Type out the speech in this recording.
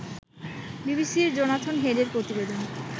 বিবিসির জোনাথন হেডের প্রতিবেদন